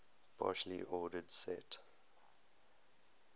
partially ordered set